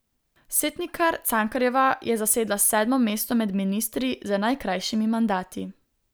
Setnikar Cankarjeva je zasedla sedmo mesto med ministri z najkrajšimi mandati.